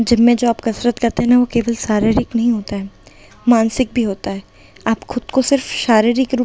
जब में जो आप कसरत करते हैं ना वो केवल शारीरिक नहीं होता है मानसिक भी होता है आप खुद को सिर्फ शारीरिक रूप --